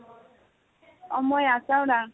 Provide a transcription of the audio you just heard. অ মই আছাওদাং